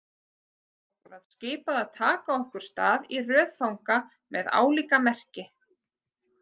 Okkur var skipað að taka okkur stað í röð fanga með álíka merki.